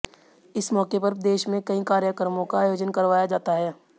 इस मौके पर देश में कई कार्यक्रमों का आयोजन करवाया जाता है